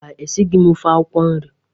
Mba, esighi m ofe akwụkwọ nri.